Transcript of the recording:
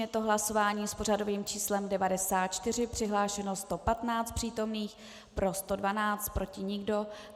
Je to hlasování s pořadovým číslem 94, přihlášeno 115 přítomných, pro 112, proti nikdo.